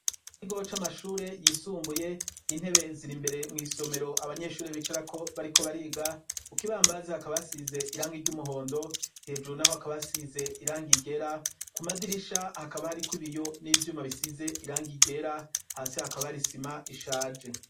mrigaho c'amashure yisumbuye intebe ziri imbere mu isomero abanyeshuri bicara ko bariko bariga kuko ibambazi hakaba hasize iranga iry'umuhondo hejuru naho hakaba asize iranga igera ku madirisha hakaba hari ko ibiyo n'ibyuma bisize iranga igera hasi hakaba arisima ishaje